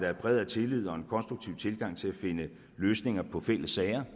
er præget af tillid og en konstruktiv tilgang til at finde løsninger på fælles sager